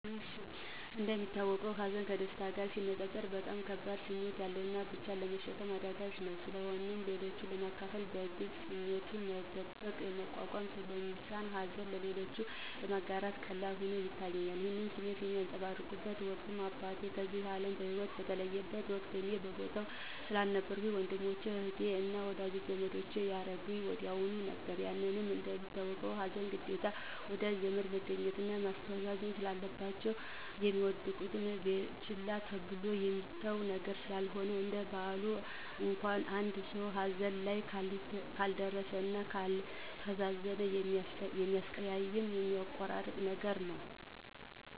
እንደሚታወቀው ሀዘን ከደስታ ጋር ሲነፃፀር በጣም ከባድ ስሜት ያለውና ብቻን ለመሸከም አዳጋች ነው። ስለሆነም ለሌሎች ለማካፈል፥ ለመግለፅ ስሜቱን መደበቅና መቋቋም ስለሚሳን ሀዘንን ለሌሎች ለማጋራት ቀላል ሆኖ ይታየኛል። ይህን ስሜት ያንፀባረኩበት ወቅት አባቴ ከዚህ አለም በሂወት በተለየበት ወቅት እኔ በቦታው ስለነበርኩኝ ለወንድሞቸ፥ አህቴ አና ለወዳጂ ዘመዶቸ ያረዳሁኝ ወዲያሁኑ ነበር። ያው እንደሚታወቀው ሀዘን ግዴታ ወዳጅ ዘመድ መገኘትና ማስተዛዘን ስላለባቸው፣ እሚደበቅና ችላ ተብሎ የሚተው ነገር ስላልሆነ፤ እንደ ባህል እንኳን አንድ ሰው ሀዘን ላይ ካልደረ እና ካላስተዛዘነ የሚያቀያይምና የሚያቆራርጥ ነገር ነው።